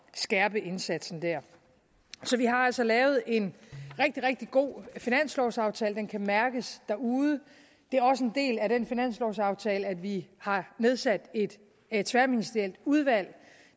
skærpe indsatsen der så vi har altså lavet en rigtig rigtig god finanslovaftale den kan mærkes derude det er også en del af den finanslovaftale at vi har nedsat et et tværministerielt udvalg